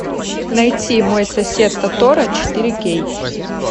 найти мой сосед тоторо четыре кей